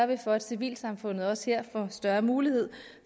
vi for at civilsamfundet også her får større mulighed